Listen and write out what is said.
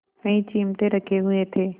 कई चिमटे रखे हुए थे